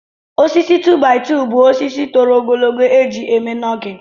Osisi 2-by-2 bụ osisi toro ogologo eji eme nọgịn